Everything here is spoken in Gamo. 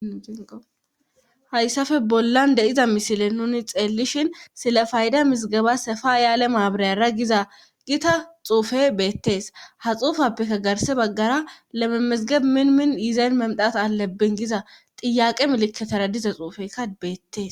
hayssafe bollan de7iza misile nuni xeellishin silafaayda misgaba hefa ayaale maabrayara giza gita xuufe beettees ha xuufappekka garse baggara lememesigeb minmin yiizayn memdata alabbin giza xiyaqe meleketara diza xuufeykka beettees